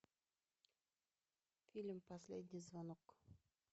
фильм последний звонок